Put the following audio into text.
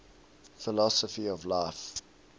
philosophy of life